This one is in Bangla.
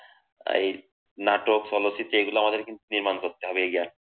এই নাটক, চলচ্চিত্র এইগুলো কিন্তু আমাদের করতে হবে।